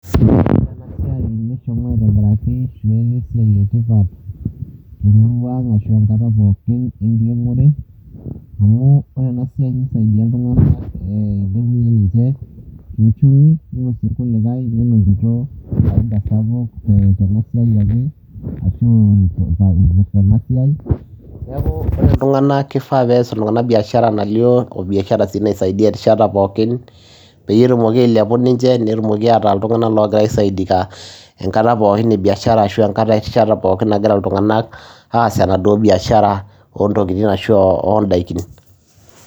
Ore enasiai neshomo aitobiraki, ashu esiai etipat temurua ang ashu enkata pookin enkiremore, amu ore enasiai nisaidia iltung'anak, ore si irkulikae nelo aisho faida sapuk tenasiai ake, ashu ipirta enasiai, neeku ore iltung'anak kifaa pees iltung'anak biashara nalio obiashara si naisaidia erishata pookin, peyie etumoki ailepu ninche netumoki ataa iltung'anak logira aisaidika enkata pookin ebiashara ashu erishata pookin nagira iltung'anak aas enaduo biashara ontokiting ashu odaikin.